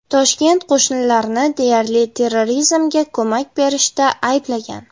Toshkent qo‘shnilarni deyarli terrorizmga ko‘mak berishida ayblagan.